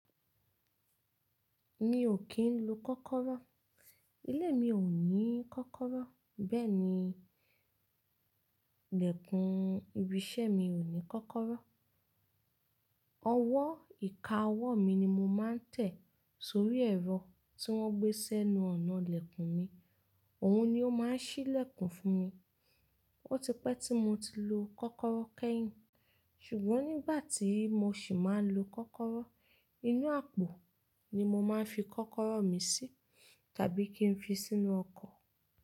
Mi ò kì ń lo kọ́kọ́rọ́. Ilé mi ò ní kọ́kọ́rọ́, bẹ́ẹ̀ ni lẹ̀kùn ibi iṣẹ́ mi ò ní kọ́kọ́rọ́. Ọwọ́ ìka ọwọ́ mi ni mo máa ń tẹ̀ sórí ẹ̀rọ tí wọ́n gbé sẹ́nu ọ̀nà ilẹ̀kùn mi, òun ni ó máa ń ṣí lẹ̀kùn fún mi. Ó ti pẹ́ tí mo ti lo kọ́kọ́rọ́ kẹ́yìn, ṣùgbọ́n nígbà tí mo sì máa ń lo kọ́kọ́rọ́, inú àpò ni mo máa ń fi kọ́kọ́rọ́ mi sí tàbí kí n fi sínú ọkọ̀.